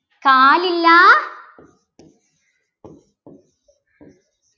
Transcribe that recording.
കാലില്ലാ